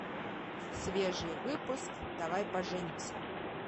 свежий выпуск давай поженимся